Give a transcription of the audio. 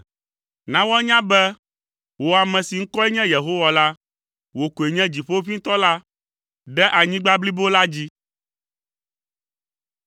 Na woanya be wò, ame si ŋkɔe nye Yehowa la, wò koe nye Dziƒoʋĩtɔ la ɖe anyigba blibo la dzi.